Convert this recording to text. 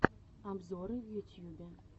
обзоры в ютьюбе